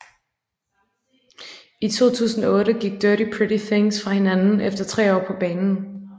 I 2008 gik Dirty Pretty Things fra hinanden efter 3 år på banen